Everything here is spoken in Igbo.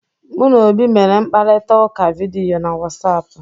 Mụ na Obi mere mkparịta ụka vidiyo na Wọsapụ